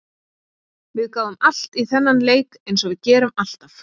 Við gáfum allt í þennan leik eins og við gerum alltaf.